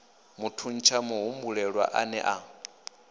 thuntsha muhumbulelwa a ne a